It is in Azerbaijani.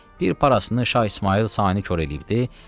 Bir parasını Şah İsmayıl sayını kor eləyibdi.